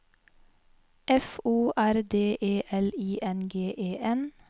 F O R D E L I N G E N